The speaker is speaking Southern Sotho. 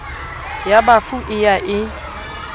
ya bafu e ya e